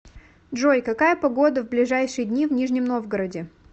джой какая погода в ближайшие дни в нижнем новгороде